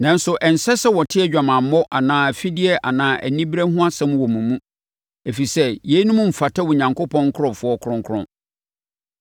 Nanso ɛnsɛ sɛ wɔte adwamammɔ anaa afideɛ anaa anibereɛ ho asɛm wɔ mo mu, ɛfiri sɛ yeinom mfata Onyankopɔn nkurɔfoɔ kronkron.